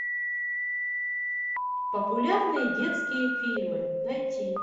популярные детские фильмы найти